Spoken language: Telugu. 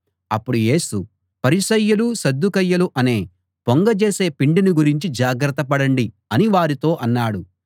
అప్పుడు యేసు పరిసయ్యులు సద్దూకయ్యులు అనే పొంగజేసే పిండిని గురించి జాగ్రత్త పడండి అని వారితో అన్నాడు